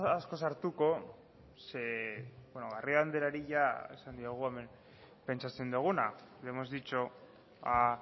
asko sartuko garrido andereari jada esan diogu hemen pentsatzen duguna ya le hemos dicho a